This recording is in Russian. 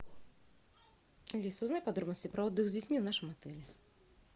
алиса узнай подробности про отдых с детьми в нашем отеле